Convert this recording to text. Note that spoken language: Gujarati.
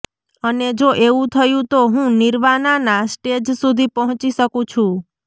અને જો એવું થયું તો હું નિર્વાનાના સ્ટેજ સુધી પહોંચી શકું છું